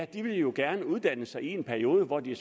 de vil jo gerne uddanne sig i en periode hvor de